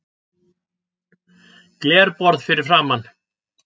Glerborð fyrir framan.